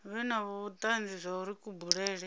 vhe na vhutanzi zwauri kubulele